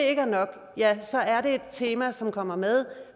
ikke er nok så er det et tema som kommer med